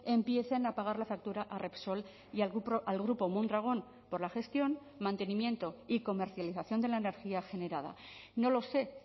empiecen a pagar la factura a repsol y al grupo mondragon por la gestión mantenimiento y comercialización de la energía generada no lo sé